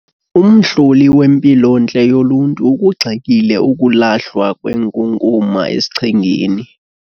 Umhloli wempilontle yoluntu ukugxekile ukulahlwa kwenkunkuma esichengeni.